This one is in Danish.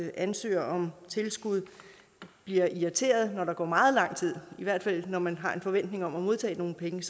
ansøger om tilskud bliver irriterede når der går meget lang tid med det når man har en forventning om at modtage nogle penge